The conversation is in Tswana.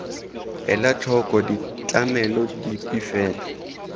ela tlhoko ditlamelo dipe fela